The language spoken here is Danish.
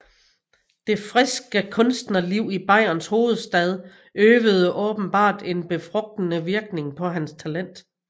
Det friske kunstnerliv i Bayerns hovedstad øvede åbenbart en befrugtende virkning på hans talent